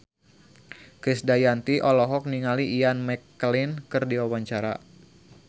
Krisdayanti olohok ningali Ian McKellen keur diwawancara